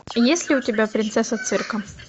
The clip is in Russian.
есть ли у тебя принцесса цирка